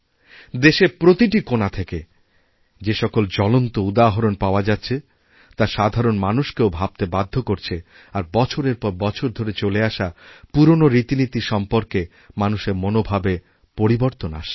দেশের প্রতিটি কোণা থেকে যে সকল জ্বলন্তউদাহরণ পাওয়া যাচ্ছে তা সাধারণ মানুষকেও ভাবতে বাধ্য করছে আর বছরের পর বছর ধরে চলেআসা পুরনো রীতিনীতি সম্পর্কে মানুষের মনোভাবে পরিবর্তন আসছে